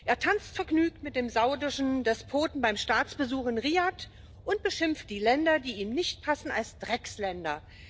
Er tanzt vergnügt mit dem saudischen Despoten beim Staatsbesuch in Riad und beschimpft die Länder, die ihm nicht passen, als Drecksländer.